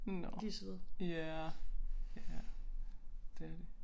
Nåh ja ja det er de